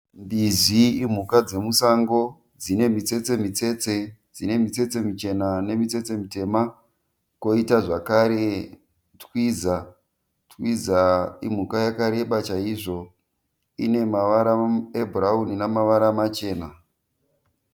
Mbizi imhuka dzemusango dzine mitsetse mitsetse. Dzine mitsetse michena nemitsetse mitema. Koita zvekare Twiza, Twiza imhuka yakareba chaizvo ine mavara ebhurauni namavara machena.